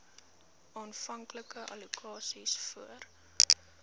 aanvanklike allokasies voor